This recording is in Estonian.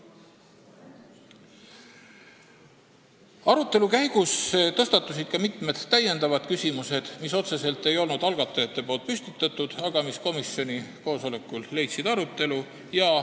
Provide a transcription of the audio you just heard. Arutelu käigus tõstatusid mitmed küsimused, mida algatajad otseselt ei olnud püstitanud, aga komisjoni koosolekul leidsid need arutelu.